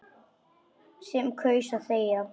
Sem kaus að þegja.